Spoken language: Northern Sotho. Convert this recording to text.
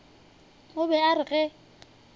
o be a re ge